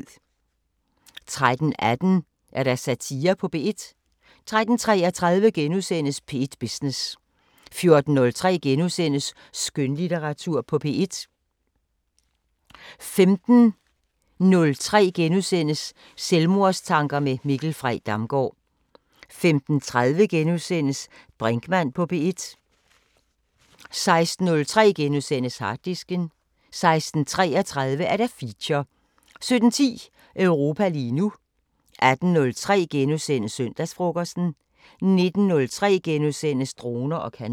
13:18: Satire på P1 13:33: P1 Business * 14:03: Skønlitteratur på P1 * 15:03: Selvmordstanker med Mikkel Frey Damgaard * 15:30: Brinkmann på P1 * 16:03: Harddisken * 16:33: Feature 17:10: Europa lige nu 18:03: Søndagsfrokosten * 19:03: Droner og kanoner *